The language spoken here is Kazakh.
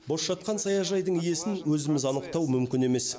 бос жатқан саяжайдың иесін өзіміз анықтау мүмкін емес